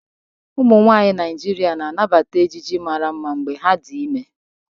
Ụmụnwaanyị Naijiria na-anabata ejiji mara mma mgbe ha dị ime.